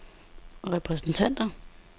repræsentanter